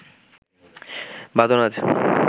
বাঁধন আজ